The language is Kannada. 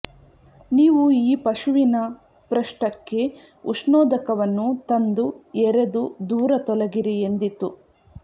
ನೀವು ಈ ಪಶುವಿನ ಪೃಷ್ಠಕ್ಕೆ ಉಷ್ಣೋದಕವನ್ನು ತಂದು ಎರೆದು ದೂರ ತೊಲಗಿರಿ ಎಂದಿತು